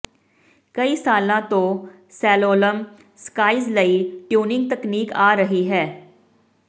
ਕਈ ਸਾਲਾਂ ਤੋਂ ਸੈਲੌਲੋਮ ਸਕਾਈਜ਼ ਲਈ ਟਿਊਨਿੰਗ ਤਕਨੀਕ ਆ ਰਹੀ ਹੈ